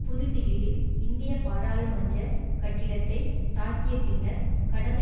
புதுதில்லியில் இந்திய பாராளுமன்ற கட்டிடத்தைத் தாக்கிய பின்னர் கடந்த